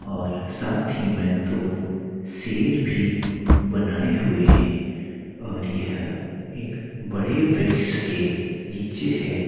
और साथ में ही दो शेर भी बनाये हुए हैं और यह एक बड़े वृक्स के नीचे है।